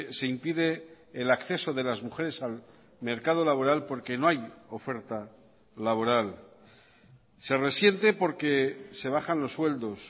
se impide el acceso de las mujeres al mercado laboral porque no hay oferta laboral se resiente porque se bajan los sueldos